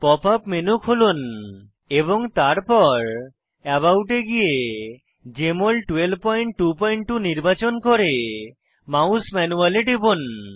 pop up menu খুলুন এবং তারপর আবাউট এ গিয়ে জেএমএল 1222 নির্বাচন করে মাউস ম্যানুয়াল এ টিপুন